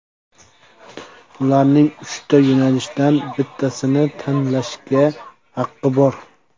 Ularning uchta yo‘nalishdan bittasini tanlashga haqqi bor.